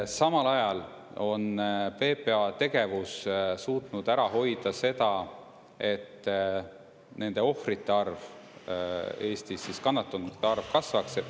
Samal ajal on PPA tegevus suutnud ära hoida seda, et kannatanute arv Eestis kasvaks.